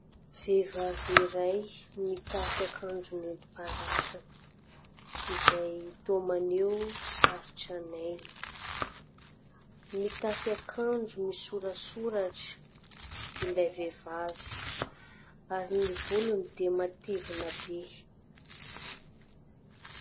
Vehivavy iray mitafy akanjo nentim-paharazana izay toa maneho sary tranainy. Mitafy akanjo misoratsoratra ilay vehivavy ary ny volony dia matevina be.